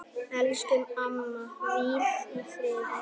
Elsku amma, hvíl í friði.